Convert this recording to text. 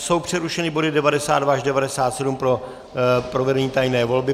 Jsou přerušeny body 92 až 97 pro provedení tajné volby.